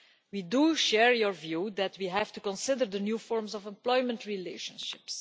We share your view that we have to consider the new forms of employment relationships.